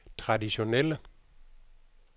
traditionelle